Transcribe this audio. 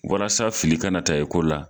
Walasa fili kana na ta ye ko la